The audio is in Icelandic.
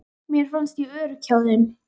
Mér fannst ég örugg hjá þeim.